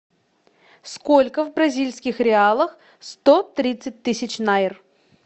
сколько в бразильских реалах сто тридцать тысяч найр